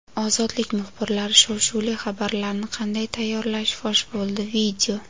"Ozodlik" muxbirlari shov-shuvli xabarlarni qanday tayyorlashi fosh bo‘ldi.